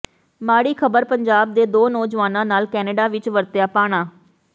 ਮਾੜੀ ਖਬਰ ਪੰਜਾਬ ਦੇ ਦੋ ਨੌਜਵਾਨਾਂ ਨਾਲ ਕੈਨੇਡਾ ਵਿੱਚ ਵਰਤਿਆ ਭਾਣਾ